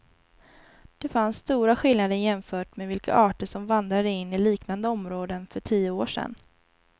De fann stora skillnader jämfört med vilka arter som vandrade in i liknande områden för tio år sedan.